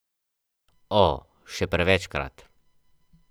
Meduze uspevajo tudi tam, kjer drugi omagajo.